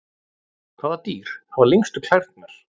Hvaða dýr hafa lengstu klærnar?